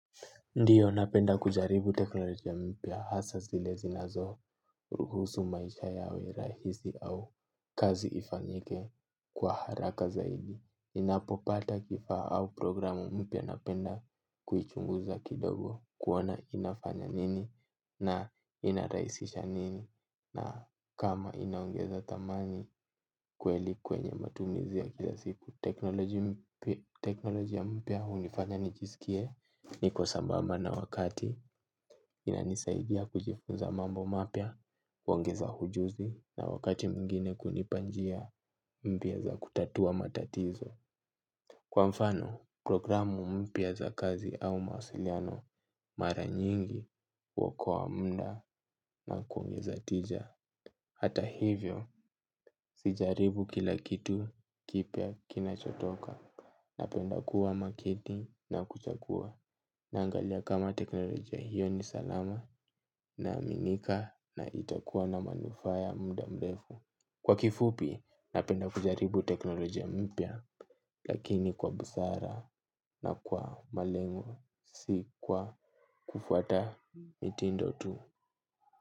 Ndiyo napenda kujaribu teknolojia mpia hasa zile zinazo ruhusu maisha yawe rahisi au kazi ifanyike kwa haraka zaidi. Ninapopata kifa au programu mpia napenda kuichunguza kidogo kuona inafanya nini na inaraisisha nini na kama inaongeza tamani kweli kwenye matumizi ya kila siku. Teknolojiya mpia unifanya nijisikie niko sabamba na wakati inanisaidia kujifunza mambo mapia, uongeza hujuzi na wakati mgine kunipa njia mpia za kutatua matatizo. Kwa mfano, programu mpia za kazi au mausiliano mara nyingi huokowa munda na kuongeza tija. Hata hivyo, sijaribu kila kitu kipia kinachotoka. Napenda kuwa makini na kuchakua na angalia kama teknolojia hiyo ni salama na aminika na itakuwa na manufa ya muda mlefu. Kwa kifupi napenda kujaribu teknolojia mpya lakini kwa busara na kwa malengo si kwa kufuata mitindo tu.